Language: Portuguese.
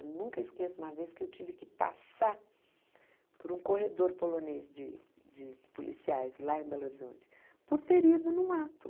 Eu nunca esqueço uma vez que eu tive que passar por um corredor polonês de de policiais lá em Belo Horizonte, por ter ido num ato.